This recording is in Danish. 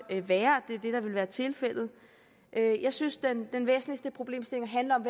være at det er det der vil være tilfældet jeg synes at den væsentligste problemstilling handler om